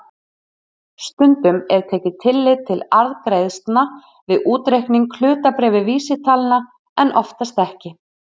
Stundum er tekið tillit til arðgreiðslna við útreikning hlutabréfavísitalna en oftast ekki.